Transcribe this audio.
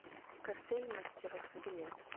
картель мастеров билет